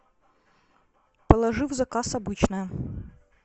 положи в заказ обычное